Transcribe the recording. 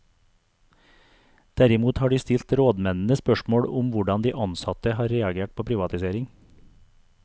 Derimot har de stilt rådmennene spørsmål om hvordan de ansatte har reagert på privatisering.